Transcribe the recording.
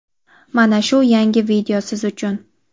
mana shu yangi video siz uchun!.